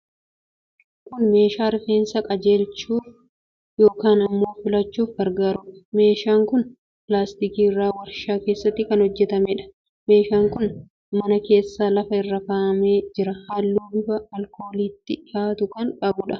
Kun meeshaa rifeensa qajeelchachuuf yookiin immoo filachuuf gargaaruudha. Meeshaan kun pilaastikii irraa warshaa keessatti kan hojjetameedha. Meeshaan kun mana keessa lafa irra kaa'amee jira. Halluu bifa alkooliitti dhihaatu kan qabuudha.